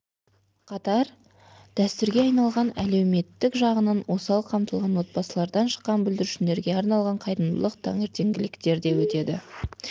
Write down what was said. қатар дәстүрге айналған әлеуметтік жағынан осал қамтылған отбасылардан шыққан бүлдіршіндерге арналған қайырымдылық таңертеңгіліктер де өтеді